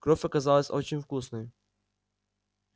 кровь оказалась очень вкусной